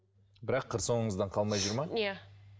бірақ қыр соңыңыздан қалмай жүр ме иә